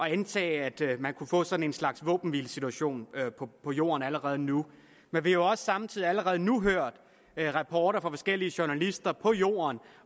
at antage at man kunne få sådan en slags våbenhvilesituation på jorden allerede nu men vi har jo samtidig også allerede nu hørt rapporter fra forskellige journalister på jorden